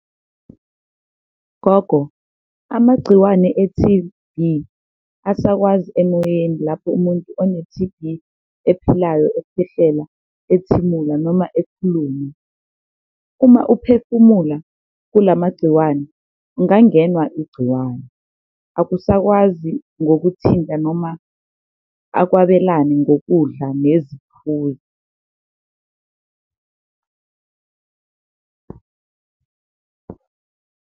Gogo, amagciwane e-T_B asakwazi emoyeni lapho umuntu one-T_B ephilayo ekhwehlela, ethimula noma ekhuluma, uma ephefumula kula magciwane ungangenwa igciwane, akusakwazi ngokuthinta noma akwabelane ngokudla neziphuzo.